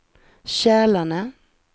Kälarne